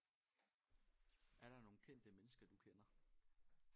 Er der nogle kendte mennesker du kender?